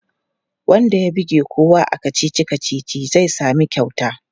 Wanda ya buge kowa a kacici-kacici zai sami kyauta.